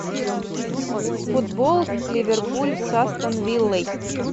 футбол ливерпуль с астон виллой